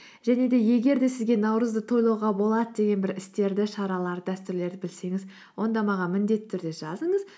және де егер де сізге наурызды тойлауға болады деген бір істерді шараларды дәстүрлерді білсеңіз онда маған міндетті түрде жазыңыз